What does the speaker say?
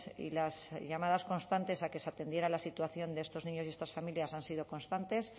y las llamadas constantes a que se atendiera la situación de estos niños y estas familias han sido constantes